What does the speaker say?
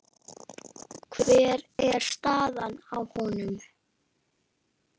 Hver er staðan á honum?